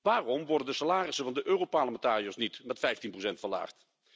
Waarom worden de salarissen van de Europarlementariërs niet met 15 verlaagd?